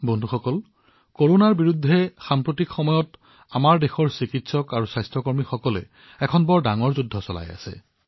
বন্ধুসকল দেশৰ চিকিৎসক আৰু স্বাস্থ্য কৰ্মীসকলে বৰ্তমান কৰোনাৰ বিৰুদ্ধে এক ডাঙৰ যুঁজত অৱতীৰ্ণ হৈছে